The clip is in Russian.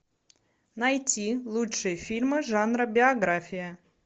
найти лучшие фильмы жанра биография